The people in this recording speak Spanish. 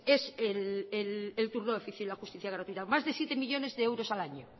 es el turno de oficio y la justicia gratuita más de siete millónes de euros al año